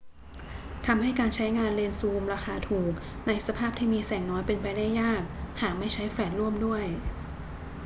ทำให้การใช้งานเลนส์ซูมราคาถูกในสภาพที่มีแสงน้อยเป็นไปได้ยาก หากไม่ใช้แฟลชร่วมด้วย